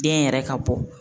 Den yɛrɛ ka bɔ